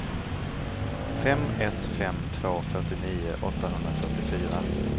fem ett fem två fyrtionio åttahundrafyrtiofyra